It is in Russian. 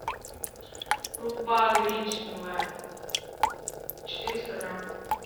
крупа гречневая четыреста грамм